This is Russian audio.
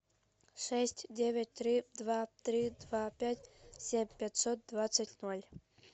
шесть девять три два три два пять семь пятьсот двадцать ноль